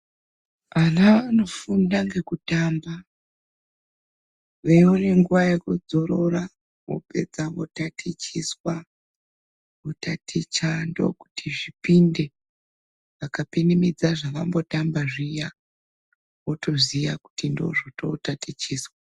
Ana anofunda ngekutamba veione nguwa yekudzorora vopedza votatichiswa votaticha ndokuti zvipinde vakapinimidza zvavambotamba zviya votoziya kuti ndozvototatichiswa.